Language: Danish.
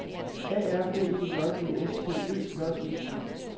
A R B E J D S T Ø J E T